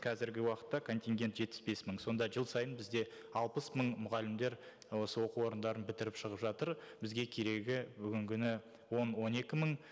қазіргі уақытта контингент жетпіс бес мың сонда жыл сайын бізде алпыс мың мұғалімдер осы оқу орындарын бітіріп шығып жатыр бізге керегі бүгінгі күні он он екі мың